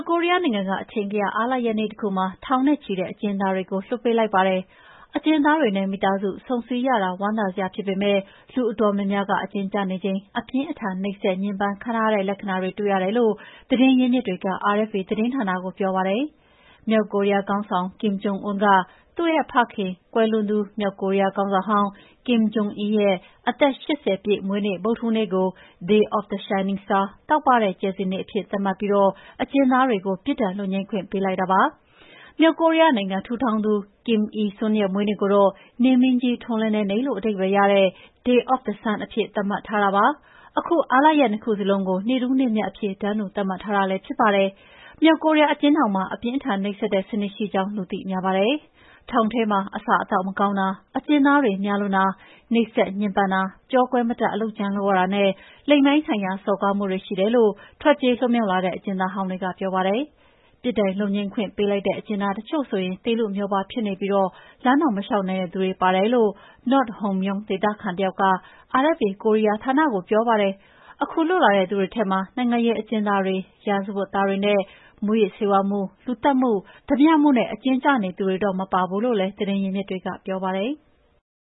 ကိုရီးယားနိုင်ငံက အထင်ကရ အားလပ်ရပ်နေ့တခုမှာ ထောင်နဲ့ချီတဲ့ အကျဉ်းသားတွေကို လွှတ်ပေးလိုက်ပါတယ်။ အကျဉ်းသားတွေနဲ့ မိသားစု ဆုံဆည်းရတာ ဝမ်းသာစရာဖြစ်ပေမယ့် လူအတော်များများက အကျဉ်းကျနေချိန် အပြင်းအထန် နှိပ်စက်ညှဉ်းပန်းခံထားရတဲ့ လက္ခဏာတွေလည်း တွေ့ရတယ်လို့ သတင်းရင်းမြစ်တွေက RFA သတင်းဌာနကို ပြောပါတယ်။ မြောက်ကိုရီးယားခေါင်းဆောင် Kim Jong Un က သူ့ဖခင်၊ ကွန်လွန်သူ မြောက်ကိုရီးယား ခေါင်းဆောင်ဟောင်း Kim Jong Il ရဲ့ အသက် ၈၀ ပြည့်မွေးနေ့ ဗုဒ္ဓဟူးနေ့ကို “Day of the Shining Star” တောက်ပတဲ့ ကြယ်စင်နေ့အဖြစ် သတ်မှတ်ပြီး အကျဉ်းသားတွေကို ပြစ်ဒဏ်လွတ်ငြိမ်းခွင့် ပေးလိုက်တာပါ။ မြောက်ကိုရီးယားနိုင်ငံ ထူထောင်သူ Kim Il Sung ရဲ့ မွေးနေ့ကိုတော့ နေမင်းကြီး ထွန်းလင်းတဲ့နေ့လို့ အဓိပ္ပာယ်ရတဲ့ “ Day of the Sun” နေ့အဖြစ် သတ်မှတ်ထားတာပါ။ ခုအားလပ်ရက် နှစ်ခုစလုံးကို နေ့ထူးနေ့မြတ်အဖြစ် တန်းတူသတ်မှတ်ထားတာ ဖြစ်ပါတယ်။ မြောက်ကိုရီးယား အကျဉ်းထောင်မှာ အပြင်းအထန် နှိပ်စက်တဲ့စနစ်ရှိကြောင်း လူသိများပါတယ်။ ထောင်ထဲမှာ အစားအသောက်မကောင်းတာ၊ အကျဉ်းသားတွေ များလွန်းတာ၊ နှိပ်စက်ညှဉ်းပန်းတာ၊ ကျောကွဲမတတ် အလုပ်ကြမ်းလုပ်ရတာနဲ့ လိင်ပိုင်းဆိုင်ရာ စော်ကားမှုတွေ ရှိတယ်လို့ ထွက်ပြေးလွတ်မြောက်လာတဲ့ အကျဉ်းသားဟောင်းတွေက ပြောပါတယ်။ ပြစ်ဒဏ်လွတ်ငြိမ်းခွင့်ပေးလိုက်တဲ့ အကျဉ်းသားတချို့ဆိုရင် သေလုမြောပါး ဖြစ်နေပြီး လမ်းတောင်မလျှောက်နိုင်တဲ့သူတွေ ပါတယ်လို့ North Hamgyong ဒေသခံတယောက်က RFA ကိုရီးယားဌာနကို ပြောပါတယ်။ ခုလွတ်လာတဲ့သူတွေထဲမှာ နိုင်ငံရေးအကျဉ်းသားတွေ၊ ရာဇဝတ်သားတွေနဲ့ မူးယစ်ဆေးဝါးမှု၊ လူသတ်မှု၊ ဓားပြမှုနဲ့ အကျဉ်းကျနေသူတွေတော့ မပါဘူးလို့လည်း သတင်းရင်းမြစ်တွေက ပြောပါတယ်။